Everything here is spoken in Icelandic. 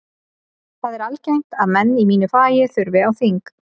Það er algengt að menn í mínu fagi þurfi á þing.